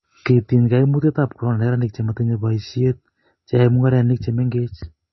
kitiny kaimutietab korona neranik che matinyei boisie, che yoe mung'arenik che mengechen